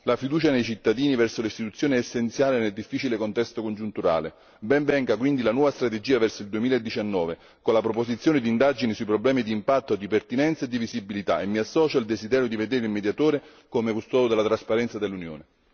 La fiducia nei cittadini verso le istituzioni è essenziale nel difficile contesto congiunturale, ben venga quindi la nuova strategia verso il 2019 con la proposizione di indagini sui problemi di impatto e di pertinenza e di visibilità e mi associo al desiderio di vedere il Mediatore come custode della trasparenza dell'Unione.